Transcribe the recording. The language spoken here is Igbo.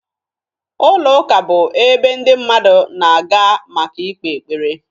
Ụlọụka bụ ebe ndị mmadụ na-aga maka ịkpe ekpere